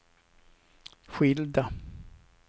skilda